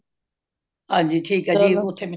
ਹਨਜੀ ਠੀਕ ਏ ਜੀ